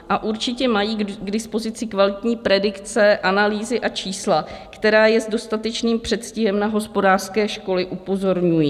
A určitě mají k dispozici kvalitní predikce, analýzy a čísla, která je s dostatečným předstihem na hospodářské škody upozorňují.